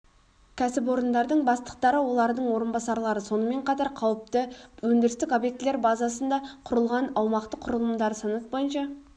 кәсіпорындардың бастықтары олардың орынбасарлары сонымен қатар қауіпті өндірістік объектілер базасында құрылған аумақтық құралымдары санаты бойынша